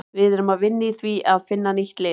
Við erum að vinna í því að finna nýtt lið.